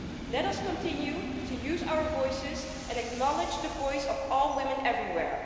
Let us continue to use our voices and acknowledge the voice of all women everywhere.